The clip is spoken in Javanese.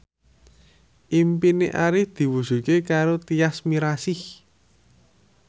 impine Arif diwujudke karo Tyas Mirasih